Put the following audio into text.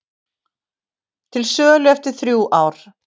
Til sölu eftir þrjú ár